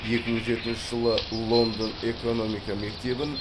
екі мың жетінші жылы лондон экономика мектебін